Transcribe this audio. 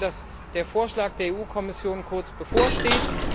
Ich verstehe, dass der Vorschlag der Kommission kurz bevorsteht.